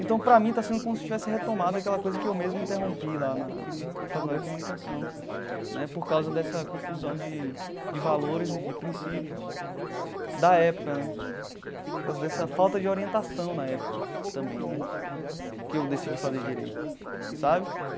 Então, para mim, está sendo como se tivesse retomado aquela coisa que eu mesmo interrompi lá na na Faculdade de Comunicação né, por causa dessa confusão de de valores e de princípios da época né, por causa dessa falta de orientação na época também né, que eu decidi fazer direito sabe.